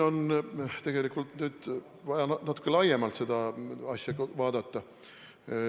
Tegelikult on nüüd vaja natuke laiemalt seda asja vaadata.